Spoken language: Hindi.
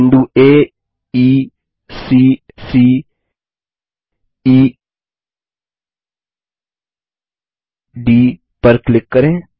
बिंदु aeसी ceडी पर क्लिक करें